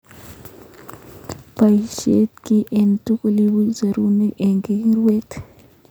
Boishe ki age tugul ibuch serunek ak kiwirte.